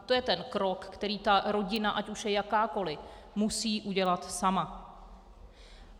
To je ten krok, který ta rodina, ať už je jakákoli, musí udělat sama.